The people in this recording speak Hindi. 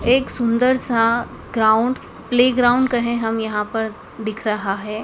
एक सुंदर सा ग्राउंड प्लेग्राउंड कहे हम यहां पर दिख रहा है।